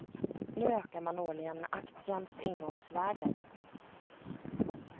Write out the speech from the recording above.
Nu ökar man årligen aktiens ingångvärde.